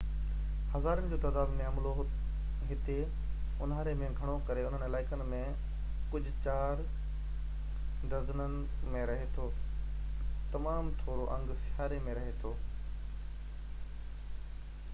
هزارن جو تعداد ۾ عملو هتي انهاري ۾ گهڻو ڪري انهن علائقن ۾ ڪجهه چار ڊزنن ۾ رهي ٿو تمام ٿورو انگ سياري ۾ رهي ٿو